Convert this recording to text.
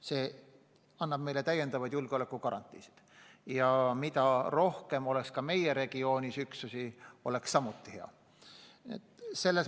See annab meile täiendavaid julgeolekugarantiisid ja mida rohkem ka meie regioonis USA üksusi on, seda parem.